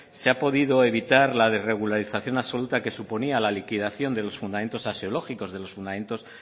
se ha podido evitar la regularización absoluta que suponía la liquidación de los fundamentos axiológicos de los fundamentos